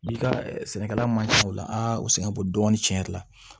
I ka sɛnɛkɛla man ca ola a sɛgɛn bo dɔɔnin cɛn yɛrɛ la